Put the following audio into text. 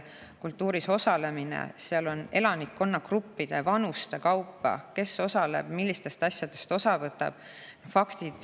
Kultuuris osalemise kohta on seal elanikkonnagruppide ja vanuste kaupa kirjas, kes osaleb ja millistest asjadest osa võtab.